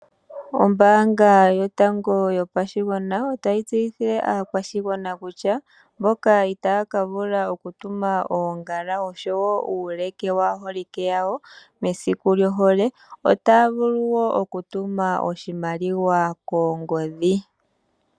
Ombaanga yotango yopashigwana otayi tseyithile aakwashigwana kutya mboka itaya ka vula oku tuma oongala oshowo uuleke waaholike yawo mesiku lyohole, otaya vulu wo oku tuma oshimaliwa koongodhi.